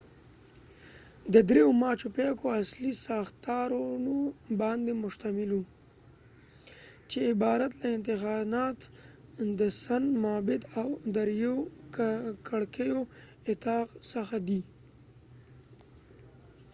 ماچو پیکو machu picchu د دریو اصلي ساختارونو باندې مشتمل وو، چې عبارت له انتیحاتانا، د سن معبد، او د دریو کړکیو اطاق څخه دي